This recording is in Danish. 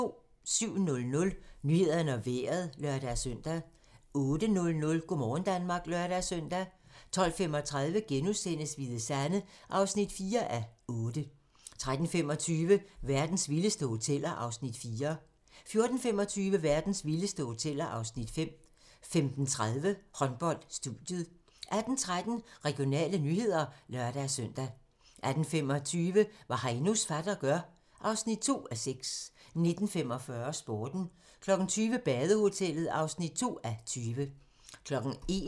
07:00: Nyhederne og Vejret (lør-søn) 08:00: Go' morgen Danmark (lør-søn) 12:35: Hvide Sande (4:8)* 13:25: Verdens vildeste hoteller (Afs. 4) 14:25: Verdens vildeste hoteller (Afs. 5) 15:30: Håndbold: Studiet 18:13: Regionale nyheder (lør-søn) 18:25: Hvad Heinos fatter gør (2:6) 19:45: Sporten 20:00: Badehotellet (2:20)